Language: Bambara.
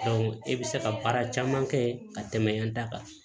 e bɛ se ka baara caman kɛ ka tɛmɛ yan da kan